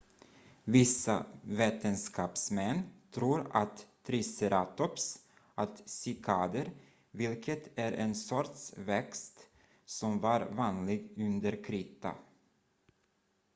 vissa vetenskapsmän tror att triceratops åt cykader vilket är en sorts växt som var vanlig under krita